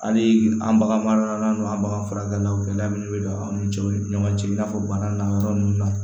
Hali an bagan maralaw an bagan furakɛlaw gɛlɛya minnu bɛ don an ni ɲɔgɔn cɛ ɲɔgɔn cɛ i n'a fɔ bana n'a yɔrɔ nun na